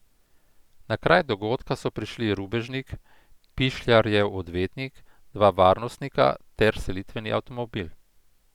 Na kraj dogodka so prišli rubežnik, Pišljarjev odvetnik, dva varnostnika ter selitveni avtomobil.